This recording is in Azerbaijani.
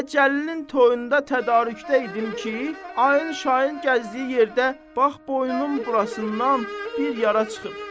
Elə Cəlilin toyunda tədarükdə idim ki, ayın şayın gəzdiyi yerdə bax boynun burasından bir yara çıxıb.